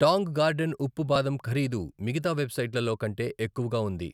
Tang Garden ఉప్పు బాదం ఖరీదు మిగతా వెబ్సైట్లలో కంటే ఎక్కువగా ఉంది.